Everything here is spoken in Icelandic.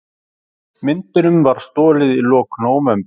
Myndunum var stolið í lok nóvember